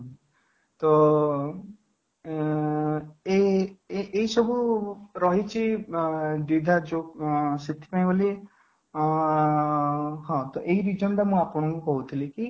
ତ ଉଁ ଏଁ ଏଇ ସବୁ ରହିଛି ଅଂ ସେଥିପାଇଁ ବୋଲି ଅଂ ହଁ ତ ଏଇ reason ଟା ମୁଁ ଆପଣଙ୍କୁ କହୁଥିଲି କି ଏ